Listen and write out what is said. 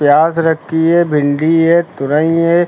प्याज रखी है भिंडी है तोरई है।